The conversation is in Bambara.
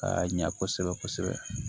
Ka ɲa kosɛbɛ kosɛbɛ